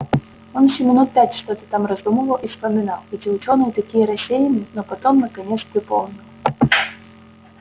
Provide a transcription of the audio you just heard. он ещё минут пять что-то там раздумывал и вспоминал эти учёные такие рассеянные но потом наконец припомнил